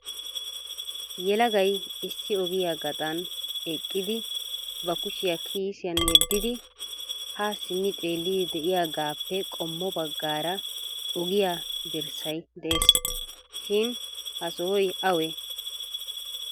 Yelagay issi ogiyaa gaxan eqqidi ba kushiyaa kiissiyan yeddidi ha simmi xeellidi de'iyaagappe qommo baggaara ogiyaa dirssay de'ees shin ha sohoy awe?